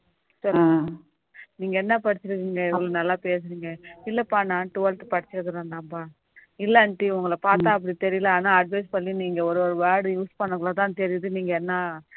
நீங்க என்ன படிச்சி இருக்கீங்க இவ்வளவு நல்லா பேசுறீங்க இல்லப்பா நான் twelfth படிச்சிருக்கேன்பா இல்ல aunty உங்கள பார்த்தா அப்படி தெரியல ஆனா advise பண்ணி நீங்க ஒவ்வொரு word use பன்னகுள்ள தான் தெரியுது நீங்க என்ன